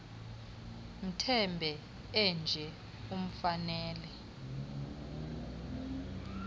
mbethe enje imfanele